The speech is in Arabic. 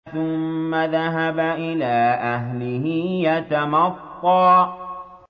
ثُمَّ ذَهَبَ إِلَىٰ أَهْلِهِ يَتَمَطَّىٰ